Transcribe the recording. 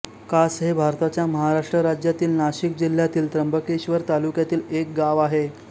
कास हे भारताच्या महाराष्ट्र राज्यातील नाशिक जिल्ह्यातील त्र्यंबकेश्वर तालुक्यातील एक गाव आहे